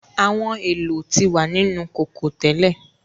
Àwọn èlò ti wa nínu kókó tẹ́lẹ̀.